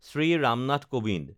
Shri Ram Nath Kovind